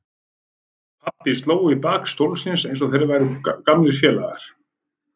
Pabbi sló í bak stólsins eins og þeir væru gamlir félagar.